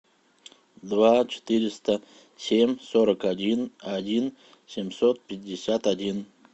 два четыреста семь сорок один один семьсот пятьдесят один